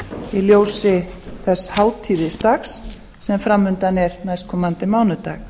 í ljósi þess hátíðisdags sem fram undan er næstkomandi mánudag